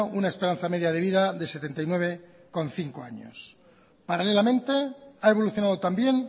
una esperanza media de vida de setenta y nueve coma cinco años paralelamente ha evolucionado también